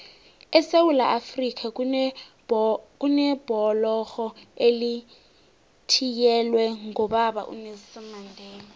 esewula afrika kunebhlorho elithiyelelwe ngobaba unelson mandela